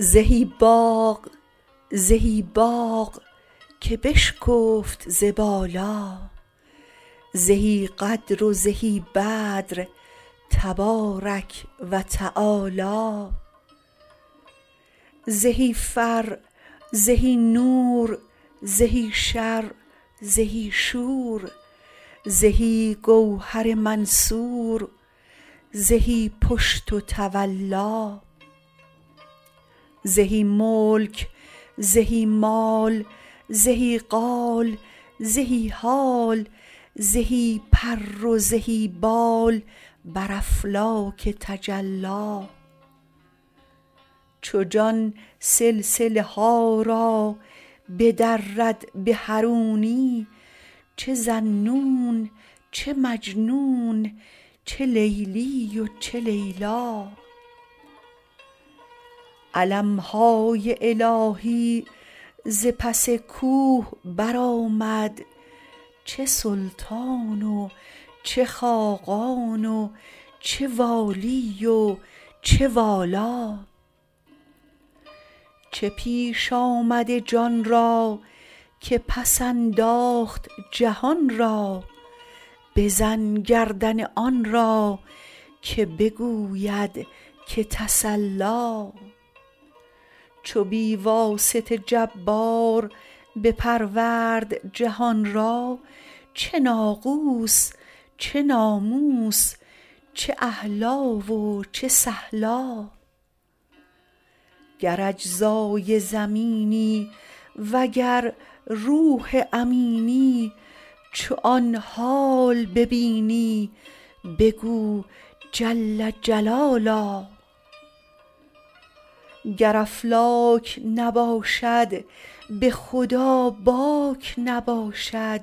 زهی باغ زهی باغ که بشکفت ز بالا زهی قدر و زهی بدر تبارک و تعالی زهی فر زهی نور زهی شر زهی شور زهی گوهر منثور زهی پشت و تولا زهی ملک زهی مال زهی قال زهی حال زهی پر و زهی بال بر افلاک تجلی چو جان سلسله ها را بدرد به حرونی چه ذاالنون چه مجنون چه لیلی و چه لیلا علم های الهی ز پس کوه برآمد چه سلطان و چه خاقان چه والی و چه والا چه پیش آمد جان را که پس انداخت جهان را بزن گردن آن را که بگوید که تسلا چو بی واسطه جبار بپرورد جهان را چه ناقوس چه ناموس چه اهلا و چه سهلا گر اجزای زمینی وگر روح امینی چو آن حال ببینی بگو جل جلالا گر افلاک نباشد به خدا باک نباشد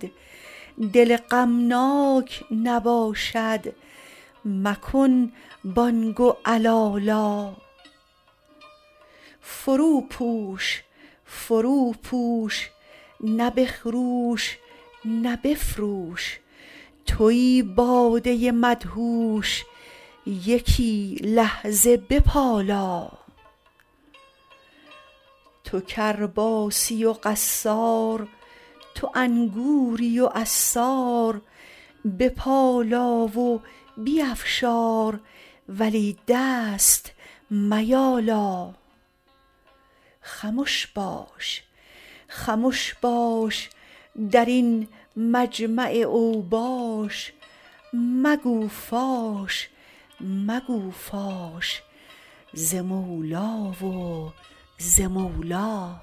دل غمناک نباشد مکن بانگ و علالا فروپوش فروپوش نه بخروش نه بفروش توی باده مدهوش یکی لحظه بپالا تو کرباسی و قصار تو انگوری و عصار بپالا و بیفشار ولی دست میالا خمش باش خمش باش در این مجمع اوباش مگو فاش مگو فاش ز مولی و ز مولا